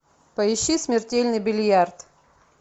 поищи смертельный бильярд